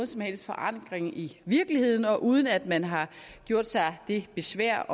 som helst forankring i virkeligheden og uden at man har gjort sig det besvær